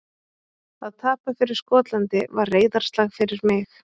Að tapa fyrir Skotlandi var reiðarslag fyrir mig.